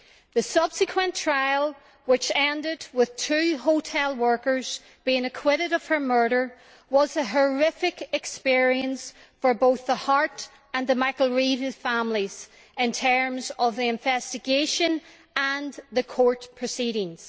The subsequent trial, which ended with two hotel workers being acquitted of her murder, was a horrific experience for both the Harte and the McAreavey families in terms of the investigation and the court proceedings.